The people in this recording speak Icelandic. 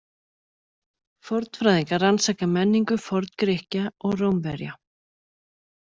Fornfræðingar rannsaka menningu Forngrikkja og Rómverja.